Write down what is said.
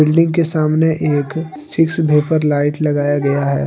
Building के सामने एक सिक्स वेपर लाइट लगाया गया है।